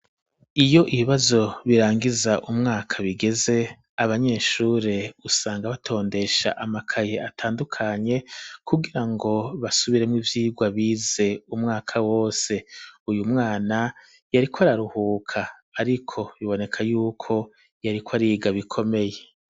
Iyo ibibazo birangiza umwaka bigeze abanyeshure usanga batondesha amakaye atandukanye kugirango basubiremwo ivyirwa bize umwaka wose uyu mwana yariko araruhuka ariko biboneka yuko yariko ariga bikomeye.